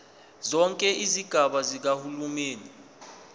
zonke izigaba zikahulumeni